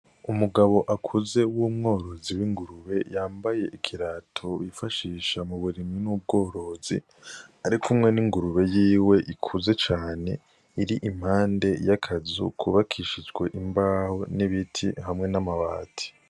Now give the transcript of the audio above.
Umugabo akuze w'umworozi w'ingurube yambaye ikirato yifashisha mu burimyi n'ubworozi, arikumwe n'ingurube yiwe ikuze cane iri impande y'akazu kubakishijwe imbaho n'ibiti hamwe n'amabati.